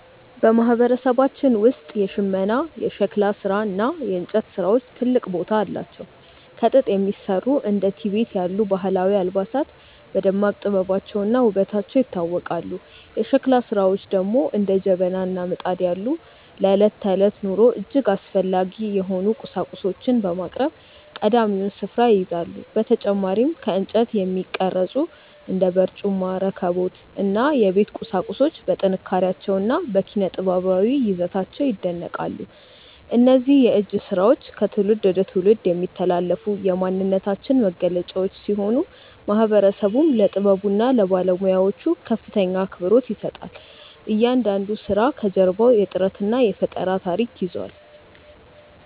በማህበረሰባችን ውስጥ የሽመና፣ የሸክላ እና የእንጨት ስራዎች ትልቅ ቦታ አላቸው። ከጥጥ የሚሰሩ እንደ ቲቤት ያሉ ባህላዊ አልባሳት በደማቅ ጥበባቸውና ውበታቸው ይታወቃሉ። የሸክላ ስራዎች ደግሞ እንደ ጀበና እና ምጣድ ያሉ ለዕለት ተዕለት ኑሮ እጅግ አስፈላጊ የሆኑ ቁሳቁሶችን በማቅረብ ቀዳሚውን ስፍራ ይይዛሉ። በተጨማሪም ከእንጨት የሚቀረጹ እንደ በርጩማ፣ ረከቦት እና የቤት ቁሳቁሶች በጥንካሬያቸውና በኪነ-ጥበባዊ ይዘታቸው ይደነቃሉ። እነዚህ የእጅ ስራዎች ከትውልድ ወደ ትውልድ የሚተላለፉ የማንነታችን መገለጫዎች ሲሆኑ፣ ማህበረሰቡም ለጥበቡና ለባለሙያዎቹ ከፍተኛ አክብሮት ይሰጣል። እያንዳንዱ ስራ ከጀርባው የጥረትና የፈጠራ ታሪክ ይዟል።